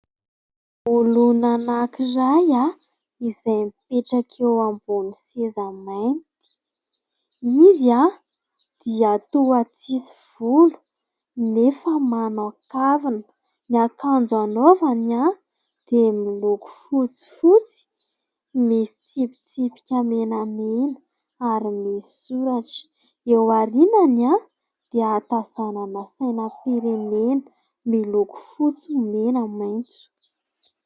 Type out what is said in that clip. Olona anakiray ah, izay mipetraka eo ambon'ny seza mainty. Izy an! Dia toa tsisy volo nefa manao kavina, ny akanjo anaovany an! Dia miloko fotsifotsy misy tsipitsipika menamena ary misy soratra. Eo aorinany an ! Dia hatazanana sainam-pirenena miloko fotsy, mena, maintso.